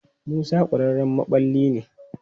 Musa ƙwararren maɓalli ne.